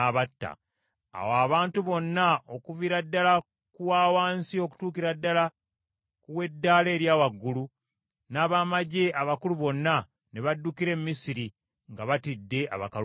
Awo abantu bonna okuviira ddala ku wawansi okutuukira ddala ku w’eddaala erya waggulu, n’abamaggye abakulu bonna, ne baddukira e Misiri, nga batidde Abakaludaaya.